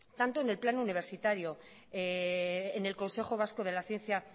tanto en el plano universitario en el consejo vasco de la ciencia